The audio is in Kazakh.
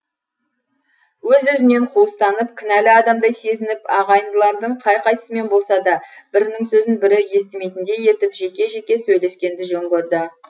өз өзінен қуыстанып кінәлі адамдай сезініп ағайындылардың қай қайсымен болса да бірінің сөзін бірі естімейтіндей етіп жеке жеке сөйлескенді жөн көрді